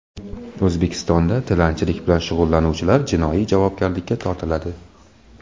O‘zbekistonda tilanchilik bilan shug‘ullanuvchilar jinoiy javobgarlikka tortiladi.